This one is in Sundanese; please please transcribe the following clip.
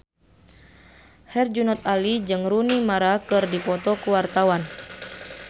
Herjunot Ali jeung Rooney Mara keur dipoto ku wartawan